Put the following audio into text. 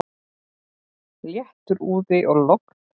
Léttur úði og logn.